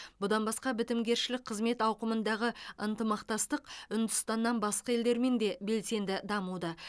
бұдан басқа бітімгершілік қызмет ауқымындағы ынтымақтастық үндістаннан басқа елдермен де белсенді дамуда